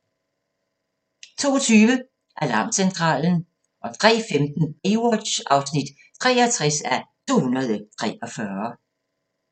02:20: Alarmcentralen 03:15: Baywatch (63:243)